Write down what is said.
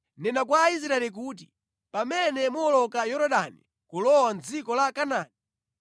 “Nena kwa Aisraeli kuti, ‘Pamene muwoloka Yorodani kulowa mʼdziko la Kanaani,